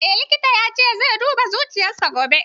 Eh likitan ya ce zai duba zuciyar sa gobe